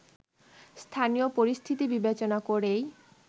স্থানীয় পরিস্থিতি বিবেচনা করেই